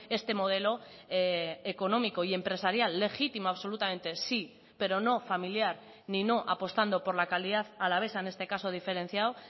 este modelo económico y empresarial legítimo absolutamente sí pero no familiar ni no apostando por la calidad alavesa en este caso diferenciado